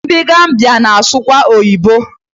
Ndị Gambiya na-asụkwa oyibo